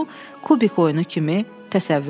bunu kubik oyunu kimi təsəvvür edin.